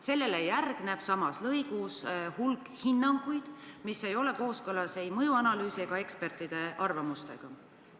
Sellele järgneb samas lõigus hulk hinnanguid, mis ei ole kooskõlas ei mõjuanalüüsi ega ekspertide arvamustega.